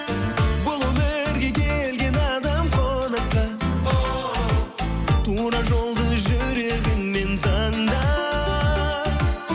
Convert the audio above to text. бұл өмірге келген адам қонаққа оу тура жолды жүрегіңмен таңда